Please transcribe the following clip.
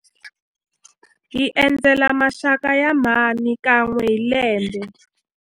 Hi endzela maxaka ya mhani kan'we hi lembe.